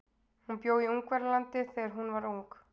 Hún bjó í Ungverjalandi þegar hún var ung.